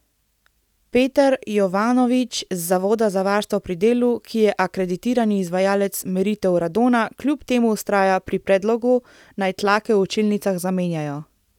Peter Jovanovič z Zavoda za varstvo pri delu, ki je akreditirani izvajalec meritev radona, kljub temu vztraja pri predlogu, naj tlake v učilnicah zamenjajo.